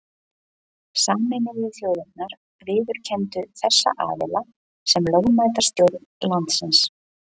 Sameinuðu þjóðirnar viðurkenndu þessa aðila sem lögmæta stjórn landsins.